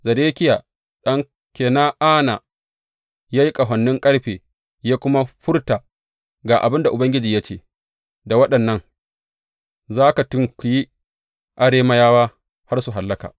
Zedekiya ɗan Kena’ana kuwa ya yi ƙahonin ƙarfe ya kuma furta, Ga abin da Ubangiji ya ce, Da waɗannan za ka tunkuyi Arameyawa har su hallaka.’